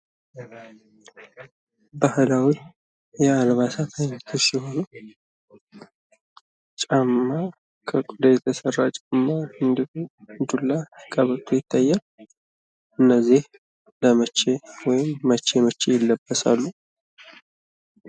የምንመለከታቸው የባህል አልባሳት ሲሆኑ ከቆዳ የተሰራ ጫማ፣ ቀበቶ እና ዱላ ይታያሉ። እነዚህ መቼ መቼ ይለበሳሉ?